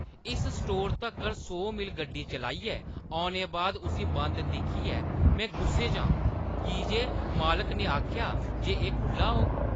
इस स्टोरै तक्कर सौ मील गड्डी चलाइयै औने बाद उस्सी बंद दिक्खियै में गुस्से च आं की जे मालकै ने आखेआ जे एह् खु'ल्ला होग।